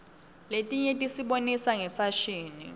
letinye tisibonisa ngefashini